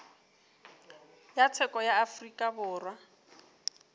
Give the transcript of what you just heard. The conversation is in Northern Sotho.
ya tsheko ya afrika borwa